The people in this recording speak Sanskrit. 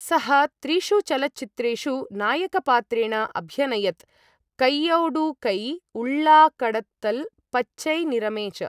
सः त्रिषु चलच्चित्रेषु नायकपात्रेण अभ्यनयत् कैयोडु कै, उळ्ळा कडत्तल्, पच्चै निरमे च।